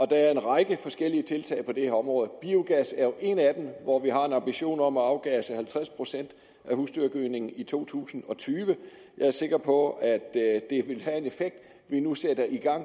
der er en række forskellige tiltag på det her område biogas er jo et af dem hvor vi har en ambition om at afgasse halvtreds procent af husdyrgødningen i to tusind og tyve jeg er sikker på at det vi nu sætter i gang